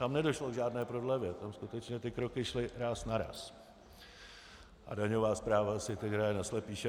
Tam nedošlo k žádné prodlevě, tam skutečně ty kroky šly ráz na ráz a daňová správa si teď hraje na slepýše.